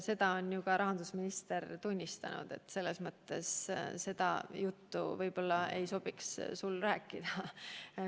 Seda on ju ka rahandusminister tunnistanud, nii et seda juttu võib-olla ei sobiks sul rääkida.